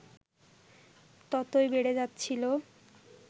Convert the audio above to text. ততই বেড়ে যাচ্ছিল